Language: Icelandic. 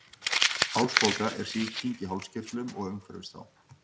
Hálsbólga er sýking í hálskirtlum og umhverfis þá.